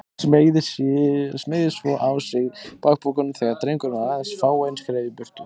Smeygði svo á sig bakpokanum þegar drengurinn var aðeins fáein skref í burtu.